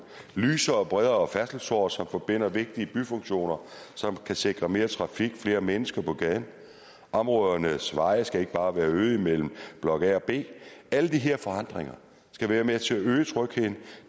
er lysere og bredere færdselsårer som forbinder vigtige byfunktioner som kan sikre mere trafik og flere mennesker på gaden områdernes veje skal ikke bare være øde imellem blok a og b alle de her forandringer skal være med til at øge trygheden